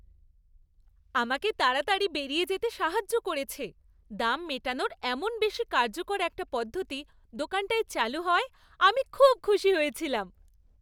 আমাকে তাড়াতাড়ি বেরিয়ে যেতে সাহায্য করেছে, দাম মেটানোর এমন বেশি কার্যকর একটা পদ্ধতি দোকানটায় চালু হওয়ায় আমি খুব খুশি হয়েছিলাম।